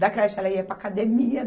Da creche, ela ia para a academia.